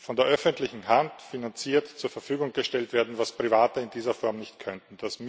von der öffentlichen Hand finanziert, zur Verfügung gestellt werden, was Private in dieser Form nicht könnten.